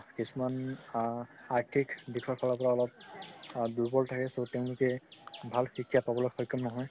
কিছুমান আ আৰ্থিক দিখৰ ফালৰ পৰা অলপ দুবল থাকে ত তেওঁলোকে ভাল শিক্ষা পাবলৈ সক্ষম নহয়